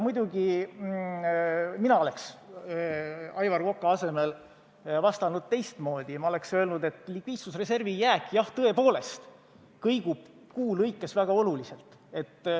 Mina oleks Aivar Koka asemel vastanud teistmoodi, ma oleks öelnud, et likviidsusreservi jääk, jah, tõepoolest kõigub kuu lõikes väga oluliselt.